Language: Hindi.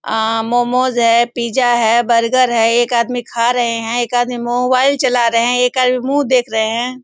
आ- मोमोज़ है पिज़्ज़ा है बर्गर है। एक आदमी खा रहे हैं एक आदमी मोबाइल चला रहे हैं एक आदमी मुँह देख रहे हैं।